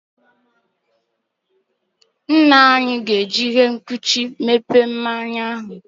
Nna anyi ga-eji ihe nkuchi meghee mmanya ahu.